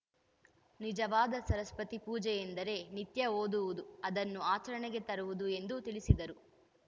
ನಿಜವಾದ ಸರಸ್ವತಿ ಪೂಜೆಯೆಂದರೆ ನಿತ್ಯ ಓದುವುದು ಅದನ್ನು ಆಚರಣೆಗೆ ತರುವುದು ಎಂದು ತಿಳಿಸಿದರು